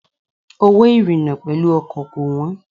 Owó ìrìna pẹ̀lú ọkọ̀ kò wọ́n.